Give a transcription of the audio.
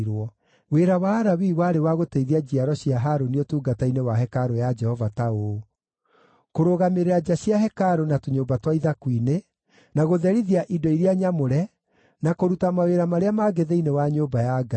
Wĩra wa Alawii warĩ wa gũteithia njiaro cia Harũni ũtungata-inĩ wa hekarũ ya Jehova ta ũũ: kũrũgamĩrĩra nja cia hekarũ na tũnyũmba twa ithaku-inĩ, na gũtherithia indo iria nyamũre, na kũruta mawĩra marĩa mangĩ thĩinĩ wa nyũmba ya Ngai.